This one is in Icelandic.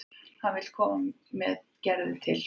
Hann vill koma með Gerði til